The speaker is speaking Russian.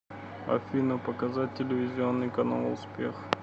афина показать телевизионный канал успех